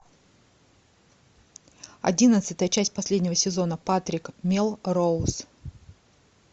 одиннадцатая часть последнего сезона патрик мелроуз